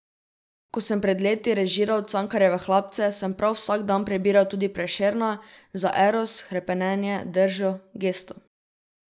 Ko sem pred leti režiral Cankarjeve Hlapce, sem prav vsak dan prebiral tudi Prešerna, za eros, hrepenenje, držo, gesto.